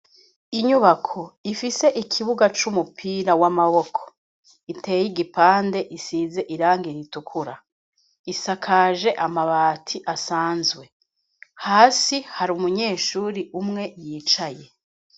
Inyubako, ifise ikibuga c'umupira w'amaboko, iteye igipande, isize irangi ritukura; isakaje amabati asanzwe; hasi, hari umunyeshuri umwe, yicaye.